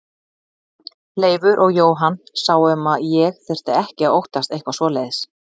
Leifur og Jóhann sáu um að ég þyrfti ekki að óttast eitthvað svoleiðis.